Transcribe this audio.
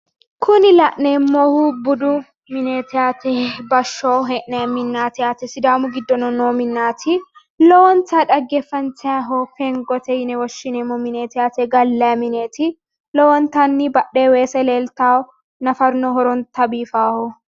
Kuni la'neemmohu budu mineeti yaate bashsho hee'nayi minneeti yaate sidaamu giddono noo minnaati lowontayi dhaggeeffantayiiho fengote yine woshshineemmo mineeti yaate gallayi mineeti lowontanni badhee weese leeltawo nafaruno horonta biifaaho